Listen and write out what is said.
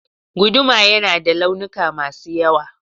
Guduma yana da launuka masu yawa